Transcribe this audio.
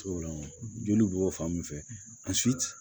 Joli bɛ bɔ fan min fɛ a